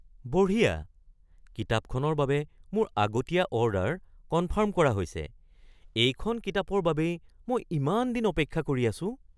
বঢ়িয়া! কিতাপখনৰ বাবে মোৰ আগতীয়া অৰ্ডাৰ কনফাৰ্ম কৰা হৈছে। এইখন কিতাপৰ বাবেই মই ইমান দিন অপেক্ষা কৰি আছো।